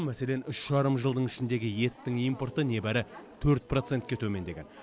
мәселен үш жарым жылдың ішіндегі еттің импорты небәрі төрт процентке төмендеген